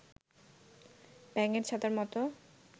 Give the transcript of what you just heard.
ব্যাঙের ছাতার মতো